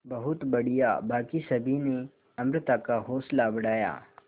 बहुत बढ़िया बाकी सभी ने अमृता का हौसला बढ़ाया